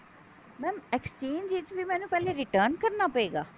mam exchange ਵਿੱਚ ਵੀ ਮੈਨੂੰ ਪਹਿਲੇ return ਕਰਨਾ ਪਏਗਾ